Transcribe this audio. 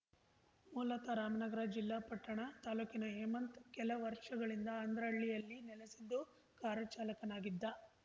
ಮೂಲತಃ ರಾಮನಗರ ಜಿಲ್ಲಾ ಪಟ್ಟಣ ತಾಲೂಕಿ ಹೇಮಂತ್‌ ಕೆಲ ವರ್ಷಗಳಿಂದ ಅಂದ್ರಹಳ್ಳಿಯಲ್ಲಿ ನೆಲಸಿದ್ದು ಕಾರು ಚಾಲಕನಾಗಿದ್ದ